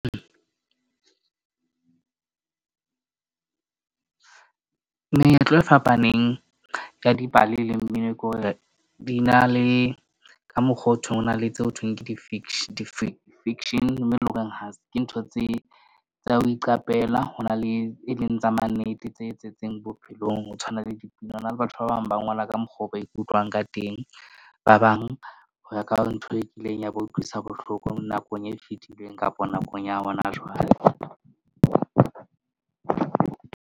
Meetlo e fapaneng ka dipale le mmino ke hore di na le ka mokgo o thweng ho na le tse ho thweng ke di di-fiction, mme e leng horeng ke ntho tse tsa ho iqapela. Ho na le e leng tsa mannete tse bophelong. Ho tshwana le dipina ho na le batho ba bang ba ngola ka mokgwa oo ba ikutlwang ka teng. Ba bang ho ya ka ntho e kileng ya ba utlwisa bohloko nakong e fetileng kapa nakong ya hona jwale.